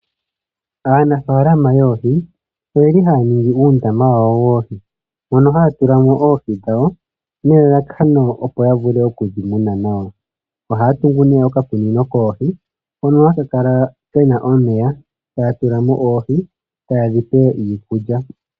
Aanafalama oyendji oyeli haya ningi oondama. Mono haya tulamo oohi dhawo nelalakano opo yavule okudhi muna nawa. ohaya tungu okakunino koohi hono haka kala kena omeya taya tulamo oohi tayedhi pe iikulya.